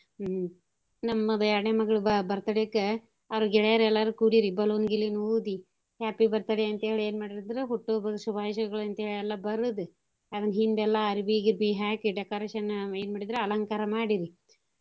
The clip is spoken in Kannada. ಹ್ಞೂ ನಮ್ಮ ಬ~ ಯಾಡ್ನೇ ಮಗ್ಳ್ ಬ~ birthday ಕ ಅವ್ರ ಗೆಳೆಯಾರ್ ಎಲ್ಲಾರೂ ಕೂಡಿರಿ balloon ಗಿಲೂನ್ ಊದಿ happy birthday ಅಂತೇಳಿ ಎನ್ ಮಾಡಿದ್ರು ಹುಟ್ಟು ಹಬ್ಬದ ಶುಭಾಷಯಗಳು ಅಂತೇಳಿ ಎಲ್ಲಾ ಬರದು ಅದ್ನ ಹಿಂದೆಲ್ಲಾ ಅರ್ಬಿ ಗಿರ್ಬಿ ಹಾಕಿ decoration ಎನ್ ಮಾಡಿದ್ರು ಅಲಂಕಾರ ಮಾಡಿದ್ರು.